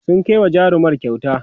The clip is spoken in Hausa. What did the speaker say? sun Kai wa jarumar kyauta